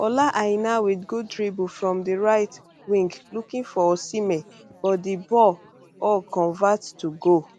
ola aina wit gooddribblefrom di right wing looking for osihmen but di ball o convert to goal